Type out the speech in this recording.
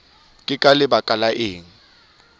ke ka lebaka la eng